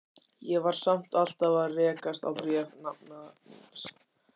Ég var samt alltaf að rekast á bréf nafna míns.